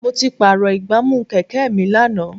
Mo ti pààrọ̀ ìgbámú Kẹ̀kẹ́ mi lánàá.